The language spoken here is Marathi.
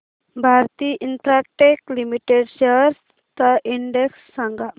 भारती इन्फ्राटेल लिमिटेड शेअर्स चा इंडेक्स सांगा